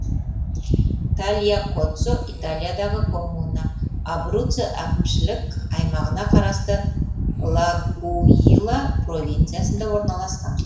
тальякоццо италиядағы коммуна абруццо әкімшілік аймағына қарасты л акуила провинциясында орналасқан